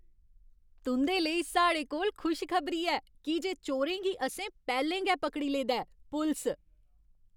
तुं'दे लेई साढ़े कोल खुश खबरी ऐ की जे चोरें गी असें पैह्लें गै पकड़ी लेदा ऐ। पुलस